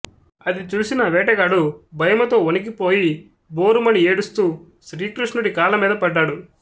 అది చూసిన వేటగాడు భయముతో వణికి పోయి భోరుమని ఏడుస్తూ శ్రీకృష్ణుడి కాళ్ళ మీద పడ్డాడు